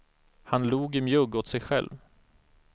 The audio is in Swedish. Han log i mjugg åt sig själv.